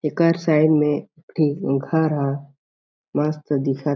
एकर side म एक ठी घर ह मस्त दिखत --